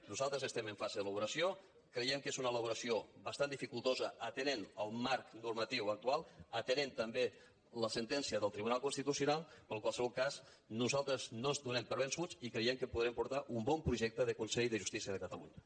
nosaltres estem en fase d’elaboració creiem que és una elaboració bastant dificultosa atenent el marc normatiu actual atenent també la sentència del tribunal constitucional però en qualsevol cas nosaltres no ens donem per vençuts i creiem que podrem portar un bon projecte de consell de justícia de catalunya